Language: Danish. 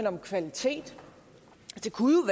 om kvalitet det kunne